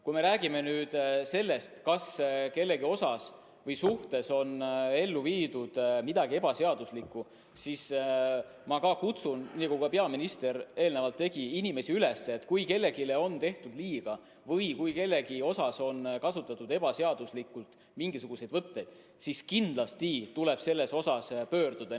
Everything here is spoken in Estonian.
Kui me räägime sellest, kas kellegi suhtes on toime pandud midagi ebaseaduslikku, siis minagi kutsun, nagu peaminister enne tegi, inimesi üles, et kui kellelegi on tehtud liiga või kui kellegi vastu on kasutatud ebaseaduslikult mingisuguseid võtteid, kindlasti võimalust kuhugi pöörduda.